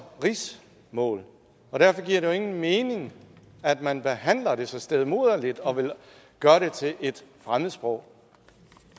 rigsmål og derfor giver det jo ingen mening at man behandler det så stedmoderligt og vil gøre det til et fremmedsprog